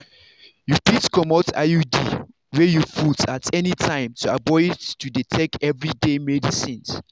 you fit comot iud wey you put at anytime to avoid to dey take everyday medicines.